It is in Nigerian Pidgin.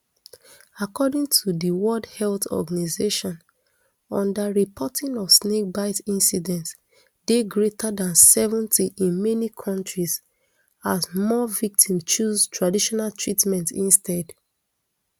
according to di world health organisation underreporting of snake bite incidents dey greater than seventy in many kontri as more victims choose traditional treatment instead